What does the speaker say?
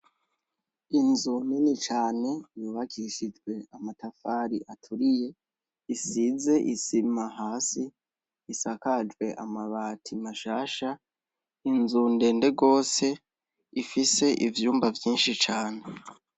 Inzu nini cane, yubakishijwe amatafari aturiye, isize isima hasi ,isakajwe amabati mashasha, inzu ndende gose ifise ivyumba vyinshi cane.